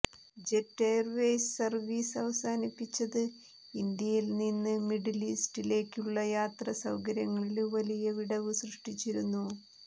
jet Airways service അവസാനിപ്പിച്ചത് ഇന്ത്യയില് നിന്ന് മിഡില് ഈസ്റ്റിലേക്കുള്ള യാത്രാ സൌകര്യത്തില് വലിയ വിടവ് സൃഷ്ടിച്ചിരുന്നു